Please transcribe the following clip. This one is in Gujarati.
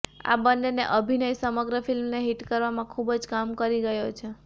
આ બંનેનો અભિનય સમગ્ર ફિલ્મને હીટ કરવામાં ખૂબજ કામ કરી ગયો છે